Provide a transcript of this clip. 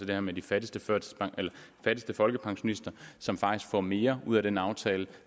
det her med de fattigste folkepensionister som faktisk får mere ud af den aftale